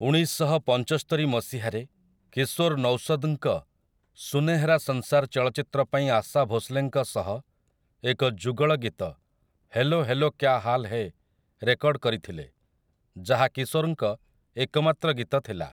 ଉଣେଇଶଶହପଞ୍ଚସ୍ତରି ମସିହାରେ କିଶୋର୍ ନୌସଦ୍‌ଙ୍କ 'ସୁନେହେରା ସଂସାର୍' ଚଳଚ୍ଚିତ୍ର ପାଇଁ ଆଶା ଭୋସ୍‌ଲେଙ୍କ ସହ ଏକ ଯୁଗଳଗୀତ 'hello hello Kya Haal Hai' record କରିଥିଲେ, ଯାହା କିଶୋରଙ୍କ ଏକମାତ୍ର ଗୀତ ଥିଲା ।